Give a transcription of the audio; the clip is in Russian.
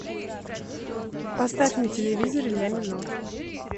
поставь на телевизоре ля минор